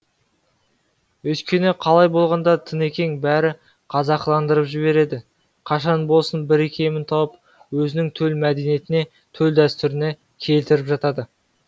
өйткені қалай болғанда да тынекең бәрін қазақыландырып жібереді қашан болсын бір икемін тауып өзінің төл мәдениетіне төл дәстүріне келтіріп жатады